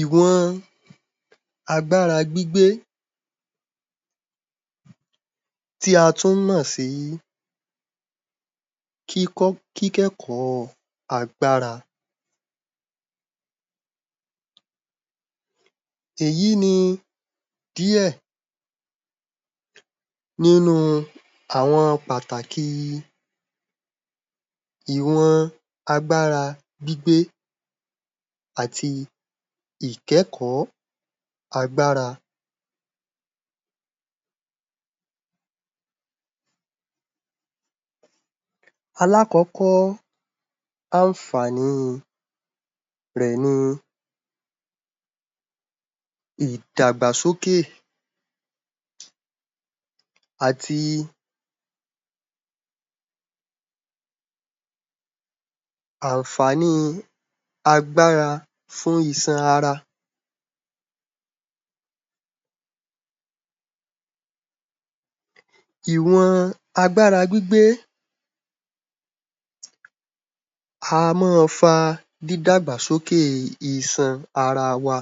Ìwọn agbára gbígbé tí a tún mọ̀ sí kíkọ́, kíkẹ́kọ̀ọ́ agbára. Èyí ni díẹ̀ nínúu àwọn pàtàkì ìwọn agbára gbígbé àti ìkẹ́kọ̀ọ́ agbára. Alákọ̀ọ́kọ́ àǹfàní rẹ̀ ni ìdàgbàsókè àti àǹfàníi agbára fún iṣan ara. Ìwọn agbára gbígbé á má a fa dídàgbàsókè iṣan ara wa,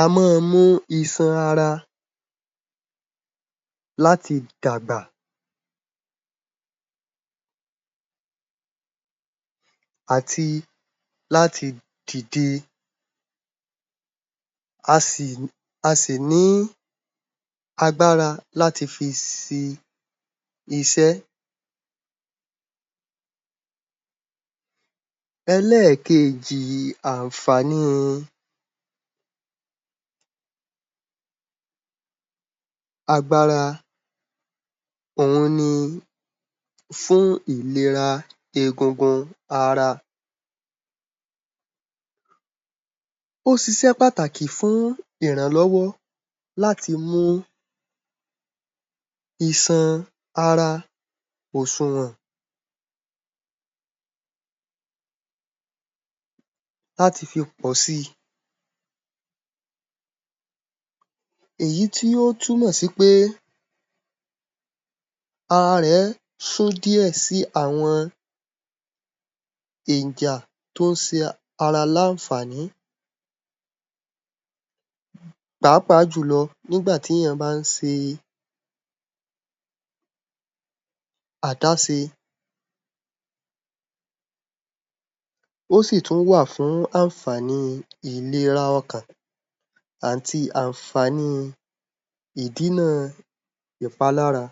á má a mu iṣan ara láti dàgbà àti láti dìde, a sì, a sì ní agbára láti fi si iṣẹ́. Ẹlẹ́ẹ̀kejì àǹfàníi agbára òhun ni fún ìlera egungun ara. Ó ṣiṣẹ́ pàtàkì fún ìrànlọ́wọ́ láti mú iṣan ara òṣùwọ̀n láti fi pọ̀ si èyí tí o túnmọ̀ sí pé ara rẹ̀ sún díẹ̀ sí àwọn ènjà tó ń ṣe ara láǹfàní pàápàá jùlọ nígbà tí èèyàn bá ń ṣe àdáṣe ó sì tún wà fún àǹfàní ìlera ọkàn àti àǹfàní ìdínà ìpalára.